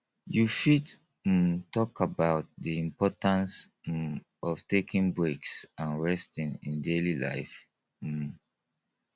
you fit um talk about di importance um of taking breaks and resting in daily life um